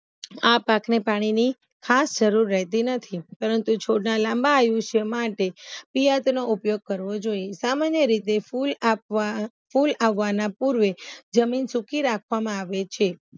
આ પાણીની ખાસ જરૂર રેહતી નથી પરંતુ છોડના લાંબા આયુષ્ય માટે ઉપયોગ કરવો જોયે સામાન્ય રીતે ફૂલ આપવા ફૂલ આવવાના પૂર્વે જમીન સુકી રાખવામાં આવે છે